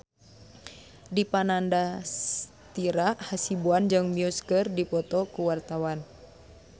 Dipa Nandastyra Hasibuan jeung Muse keur dipoto ku wartawan